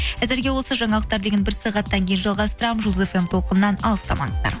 әзірге осы жаңалықтар легін бір сағаттан кейін жалғастырамын жұлдыз фм толқынынан алыстамаңыздар